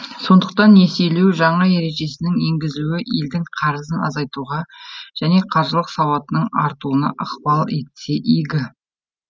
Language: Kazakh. сондықтан несиелеу жаңа ережесінің енгізілуі елдің қарызын азайтуға және қаржылық сауатының артуына ықпал етсе игі